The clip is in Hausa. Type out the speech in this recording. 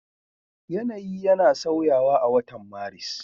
Yanayi yana sauyawa a watan Maris.